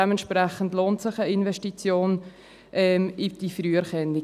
Entsprechend lohnt sich eine Investition in diese Früherkennung.